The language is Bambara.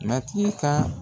Matigi ka